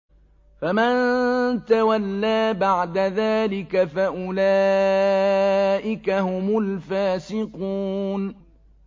فَمَن تَوَلَّىٰ بَعْدَ ذَٰلِكَ فَأُولَٰئِكَ هُمُ الْفَاسِقُونَ